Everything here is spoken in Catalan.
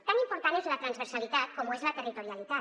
tan important és la transversalitat com ho és la territorialitat